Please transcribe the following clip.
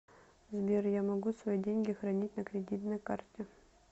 сбер я могу свои деньги хранить на кредитной карте